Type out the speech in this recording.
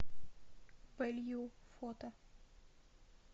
вэлью фото